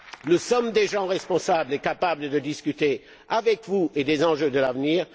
Nous sommes des gens responsables et capables de discuter avec vous des enjeux de l'avenir.